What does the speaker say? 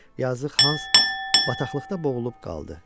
Yazıq Hans bataqlıqda boğulub qaldı.